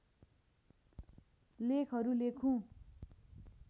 लेखहरू लेखुँ